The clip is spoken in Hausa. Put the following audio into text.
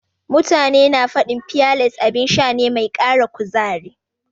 Mutane na faɗin fiyales abin sha ne mai ƙara kuzari.